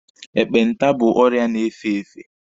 Ekpenta bụ ọrịa na-efe efe.